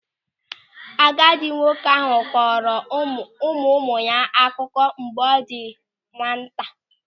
Agadi nwoke ahụ kọọrọ ụmụụmụ ya akụkọ mgbe ọ dị na nwata.